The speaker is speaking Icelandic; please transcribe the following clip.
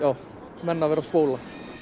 menn að vera að spóla